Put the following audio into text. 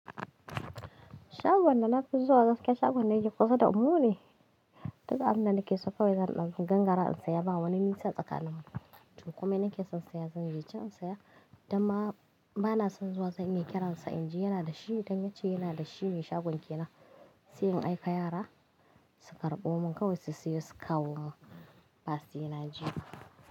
Shagon da na fi zuwa gaskiya shagon da yake kusa da mu ne. Duka abin da nake so kawai zan ɗauki. Gangara in saya ba wani nisa a tsakanin mu. To komai nake son saya zan je can in saya. Damma bana son zuwa zan iya kiransa in ji yana da shi. Dan ya ce yana da shi mai shagon ke na se in aika yara su karɓo mun. Kawai su siyo su kawo mun ba sai na je ba.